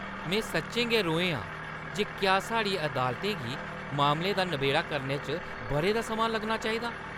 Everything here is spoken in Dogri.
में सच्चें गै रोहें आं जे क्या साढ़ियें अदालतें गी मामलें दा नबेड़ा करने च बʼरें दा समां लग्गना चाहिदा।